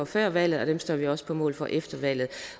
før valget og dem står vi også på mål for efter valget